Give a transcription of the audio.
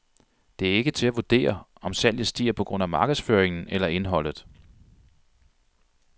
Det er ikke til at vurdere, om salget stiger på grund af markedsføringen eller indholdet.